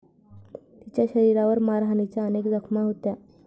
तिच्या शरीरावर मारहाणीच्या अनेक जखमा होत्या.